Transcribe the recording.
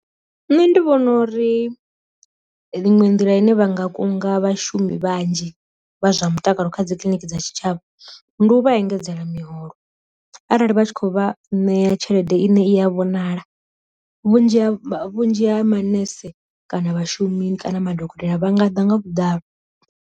Nṋe ndi vhona uri ḽiṅwe nḓila ine vha nga kunga vhashumi vhanzhi vha zwa mutakalo kha dzi kiliniki dza tshitshavha ndi u vha engedzela miholo, arali vha tshi khou vha ṋea tshelede ine i a vhonala, vhunzhi ha vhunzhi ha manese kana vhashumi kana madokotela vhanga ḓa nga vhuḓalo.